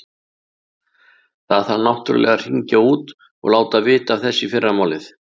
Það þarf náttúrlega að hringja út og láta vita af þessu í fyrramálið.